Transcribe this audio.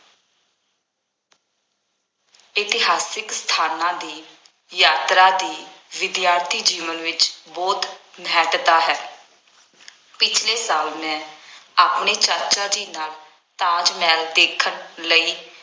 ਇਤਿਹਾਸਕ ਸਥਾਨਾਂ ਦੀ ਯਾਤਰਾ ਦੀ ਵਿਦਿਆਰਥੀ ਜੀਵਨ ਵਿੱਚ ਬਹੁਤ ਮਹੱਤਤਾ ਹੈ। ਪਿਛਲੇ ਸਾਲ ਮੈਂ ਆਪਣੇ ਚਾਚਾ ਜੀ ਨਾਲ ਤਾਜ ਮਹਿਲ ਦੇਖਣ ਲਈ